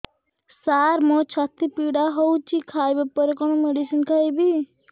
ସାର ମୋର ଛାତି ପୀଡା ହଉଚି ଖାଇବା ପରେ କଣ ମେଡିସିନ ଖାଇବି